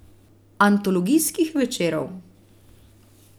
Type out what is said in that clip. Antologijskih večerov.